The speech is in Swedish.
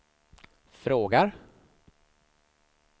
frågar